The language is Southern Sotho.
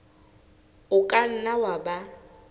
o ka nna wa ba